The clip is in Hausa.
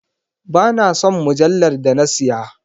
Ba na son mujallar da na siya,.